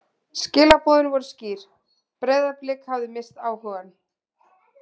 Skilaboðin voru skýr: Breiðablik hafði misst áhugann.